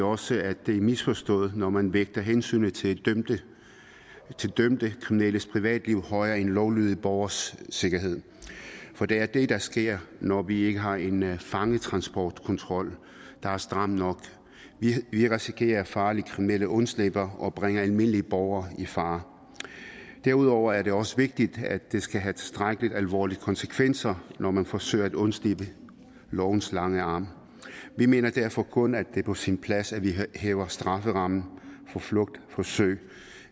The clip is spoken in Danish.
også at det er misforstået når man vægter hensynet til dømte kriminelles privatliv højere end lovlydige borgeres sikkerhed for det er det der sker når vi ikke har en fangetransportkontrol der er stram nok vi risikerer at farlige kriminelle undslipper og bringer almindelige borgere i fare derudover er det også vigtigt at det skal have tilstrækkelig alvorlige konsekvenser når man forsøger at undslippe lovens lange arm vi mener derfor kun er på sin plads at vi hæver strafferammen for flugtforsøg